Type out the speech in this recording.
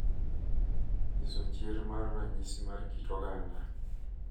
Nyiso chir mar ranyisi mar kit oganda